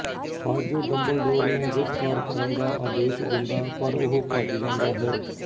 Fudge Dumbledore ਨੂੰ ਗਿਰਫ਼ਤਾਰ ਕਰਨ ਦਾ ਆਦੇਸ਼ ਦਿੰਦਾ ਪਰ ਉਹ ਭੱਜ ਜਾਂਦਾ ਹੈ